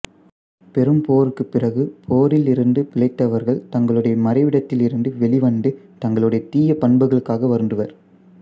பெரும்போருக்கு பிறகு போரில் இருந்து பிழைத்தவர்கள் தங்களுடைய மறைவிடத்தில் இருந்து வெளி வந்து தங்களுடைய தீய பண்புகளுக்காக வருந்துவர்